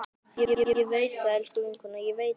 Ég veit það, elsku vinkona, ég veit það.